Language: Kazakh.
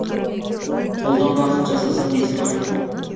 қолдан бақыт жасаса несі бар